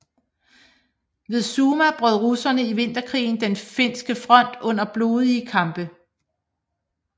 Ved Summa brød russerne i vinterkrigen den finske front under blodige kampe